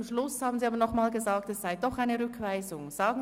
Am Schluss haben Sie aber doch nochmals von Rückweisung gesprochen.